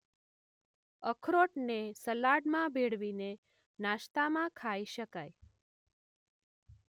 અખરોટને સલાડમાં દળીને નાસ્તામાં ખાઈ શકાય.